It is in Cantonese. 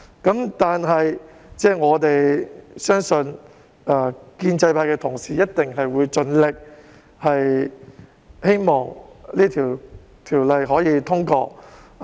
然而，我們相信建制派同事一定會盡力令《條例草案》通過。